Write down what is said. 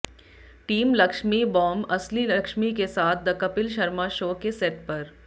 team Laxmi bomb असली लक्ष्मी के साथ द कपिल शर्मा शो के सेट पर